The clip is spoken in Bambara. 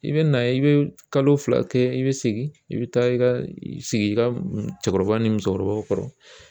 I bina i bi kalo fila kɛ i bi segin i bi taa i ka sigi i ka cɛkɔrɔba ni musokɔrɔbaw kɔrɔ